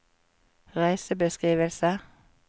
reisebeskrivelse